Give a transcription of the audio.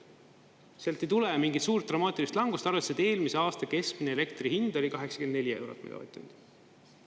Sealt ei tule mingit suurt dramaatilist langust, arvestades, et eelmise aasta keskmine elektri hind oli 84 eurot megavatt-tund.